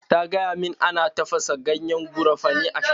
Ta gaya min ana tafasa ganyen garafuni a sha.